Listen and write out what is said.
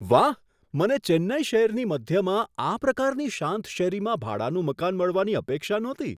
વાહ! મને ચેન્નઈ શહેરની મધ્યમાં આ પ્રકારની શાંત શેરીમાં ભાડાનું મકાન મળવાની અપેક્ષા નહોતી.